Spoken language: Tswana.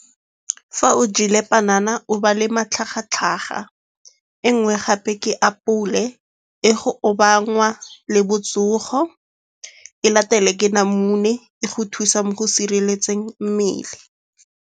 Fa o jele panana o ba le matlhagatlhaga. E nngwe gape ke apole e go obanngwa le botsogo. E latele ke namune e go thusa mo go sireletseng mmele.